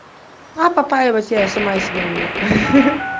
а попаивать я и сама себя умею